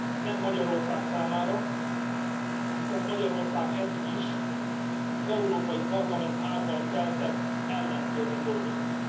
Nem Magyarország számára, hiszen Magyarország eddig is az Európai Parlament által keltett ellenszélben dolgozott.